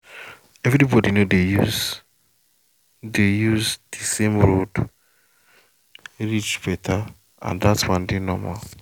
everybody no dey use the use the same road reach better and that one dey normal.